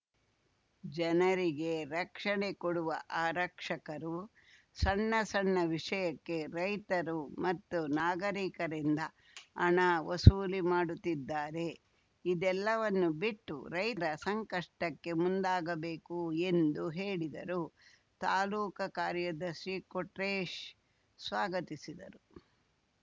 ಜನರಿಗೆ ರಕ್ಷಣೆ ಕೊಡುವ ಆರಕ್ಷಕರು ಸಣ್ಣ ಸಣ್ಣ ವಿಷಯಕ್ಕೆ ರೈತರು ಮತ್ತು ನಾಗರೀಕರಿಂದ ಹಣ ವಸೂಲಿ ಮಾಡುತ್ತಿದ್ದಾರೆ ಇದೆಲ್ಲವನ್ನು ಬಿಟ್ಟು ರೈತರ ಸಂಕಷ್ಟಕ್ಕೆ ಮುಂದಾಗಬೇಕು ಎಂದು ಹೇಳಿದರು ತಾಲೂಕ ಕಾರ್ಯದರ್ಶಿ ಕೊಟ್ರೇಶ್‌ ಸ್ವಾಗತಿಸಿದರು